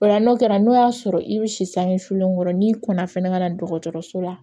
O la n'o kɛra n'o y'a sɔrɔ i bɛ si sange sulenkɔrɔ n'i kɔnna fana ka na dɔgɔtɔrɔso la